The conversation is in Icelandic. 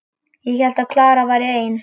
Ég hélt að Klara væri ein.